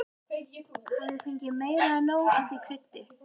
Hafði fengið meira en nóg af því kryddi.